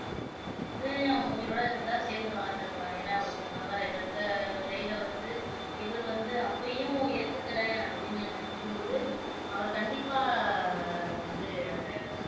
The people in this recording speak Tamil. ஒன்னு அவங்க உயிரோட இருந்திருந்தா சேர்ந்து வாழ்ந்து இருக்கலாம் ஏன்னா ஒரு கணவர இழந்த நிலையில வந்து இவரு வந்து அப்பயும் ஏத்துக்கறேன் அப்படின்னு நினைக்கும் போது அவரு கண்டிப்பா வந்து அத